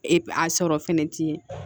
E a sɔrɔ fɛnɛ ti ye